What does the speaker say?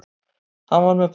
Hann var með boltann.